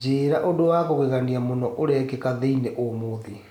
Njĩira ũndũ wa kũgegania mũno ũrekika thĩinĩ ũmũthi